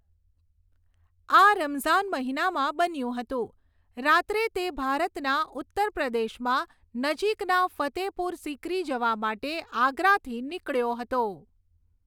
આ રમઝાન મહિનામાં બન્યું હતું, રાત્રે તે ભારતના ઉત્તર પ્રદેશમાં નજીકના ફતેહપુર સિકરી જવા માટે આગરાથી નીકળ્યો હતો.